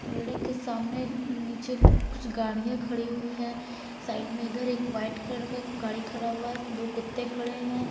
Building के सामने नीचे कुछ गाड़ियाँ खड़ी हुई हैं साइड में इधर एक वाइट कलर का गाड़ी खड़ा हुआ है दो कुत्ते खड़े हैं।